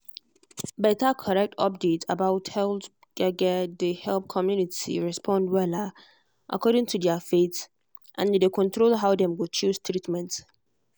better correct update about health gbege dey help community respond wella according to their faith and e dey control how dem go choose treatment.